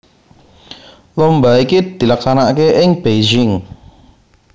Lomba iki dilaksanakaké ing Beijing